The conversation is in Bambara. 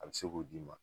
A bɛ se k'o d'i ma